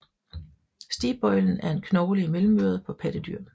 Stigbøjlen er en knogle i mellemøret på pattedyr